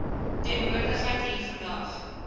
teenwoordigheid hier vandag